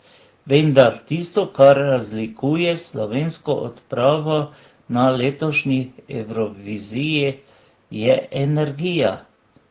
Vendar, tisto, kar razlikuje slovensko odpravo na letošnji Evroviziji, je energija.